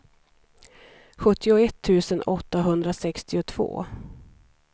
sjuttioett tusen åttahundrasextiotvå